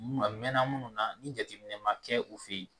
Mɛɛnna minnu na ni jateminɛ ma kɛ u fɛ yen